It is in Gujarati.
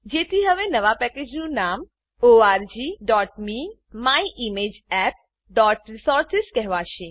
જેથી હવે નવા પેકેજનું નામ orgmemyimageappરિસોર્સિસ કહેવાશે